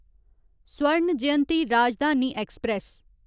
Swarna Jayanti Rajdhani express